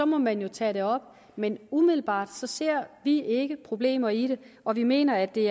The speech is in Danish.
må man jo tage det op men umiddelbart ser vi ikke problemer i det og vi mener at det